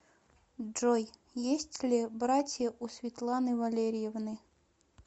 джой есть ли братья у светланы валерьевны